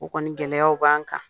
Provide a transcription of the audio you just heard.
U kɔni gɛlɛyaw b'an kan.